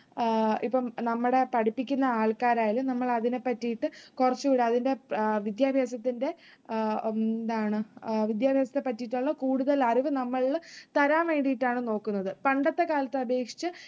ആഹ് ഇപ്പം നമ്മടെ പഠിപ്പിക്കുന്ന ആൾക്കാരായാലും നമ്മൾ അതിനെ പറ്റിയിട്ട് കുറച്ചുകൂടെ അതിന്റെ വിദ്യാഭ്യാസത്തിന്റെ അഹ് എന്താണ് വിദ്യാഭ്യാസത്തെപ്പറ്റിയിട്ടുള്ള കൂടുതൽ അറിവു നമ്മളിൽ തരാൻവേണ്ടിയിട്ടാണ് നോക്കുന്നത്. പണ്ടത്തെകാലത്തെ അപേക്ഷിച്ച്